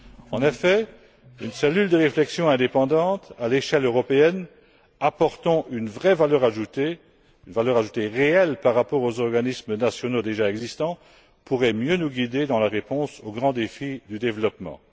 En effet, une cellule de réflexion indépendante à l'échelle européenne apportant une vraie valeur ajoutée, une valeur ajoutée réelle par rapport aux organismes nationaux déjà existants, pourrait mieux nous guider dans la réponse aux grands défis du développement.